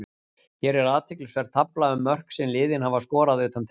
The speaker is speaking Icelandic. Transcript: Hér er athyglisverð tafla um mörk sem liðin hafa skorað utan teigs.